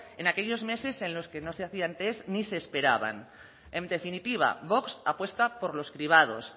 en aquellos meses en los que no se hacían tests ni se esperaban en definitiva vox apuesta por los cribados